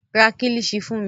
Ra Kílíṣí fún mi